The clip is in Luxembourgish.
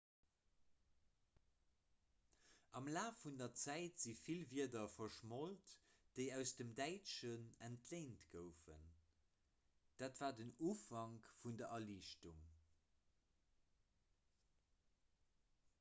am laf vun der zäit si vill wierder verschmolt déi aus dem däitschen entléint goufen dat war den ufank vun der erliichtung